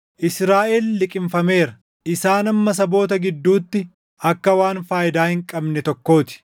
Israaʼel liqimfameera; isaan amma saboota gidduutti akka waan faayidaa hin qabne tokkoo ti.